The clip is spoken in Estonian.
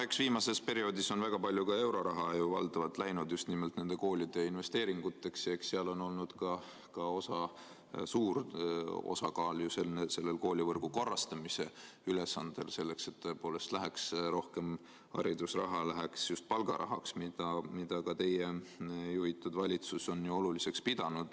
Eks viimasel perioodil on väga palju euroraha läinud ju valdavalt just nimelt koolide investeeringuteks ja eks seal on olnud suur osakaal ka koolivõrgu korrastamise ülesandel, et tõepoolest läheks rohkem haridusraha just palgarahaks, mida on ka teie juhitud valitsus oluliseks pidanud.